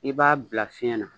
I b'a bila fiɲɛ na.